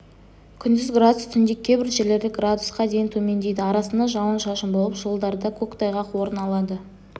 күндіз градус түнде кейбір жерлерде градусқа дейін төмендейді арасында жауын-шашын болып жолдарда көктайғақ орын алады